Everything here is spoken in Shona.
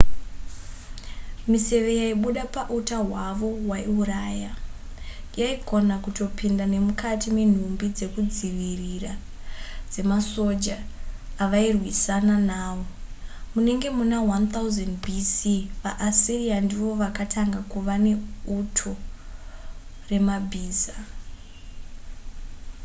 miseve yaibuda pauta hwavo hwaiuraya yaigona kutopinda nemukati menhumbi dzekuzvidzivirira dzemasoja avairwisana nawo munenge muna 1000 b.c. vaassyria ndivo vakatanga kuva neuto remabhiza